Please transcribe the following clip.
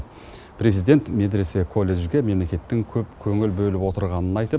президент медресе колледжге мемлекеттің көп көңіл бөліп отырғанын айтып